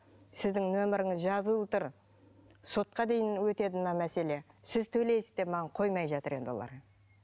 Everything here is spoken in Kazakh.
сіздің нөміріңіз жазылуы тұр сотқа дейін өтеді мына мәселе сіз төйлейсіз деп маған қоймай жатыр енді олар